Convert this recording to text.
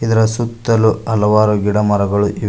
ಇದರ ಸುತ್ತಲು ಹಲವಾರು ಗಿಡಮರಗಳು ಇವೆ.